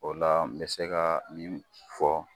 O la n bɛ se ka min fɔ.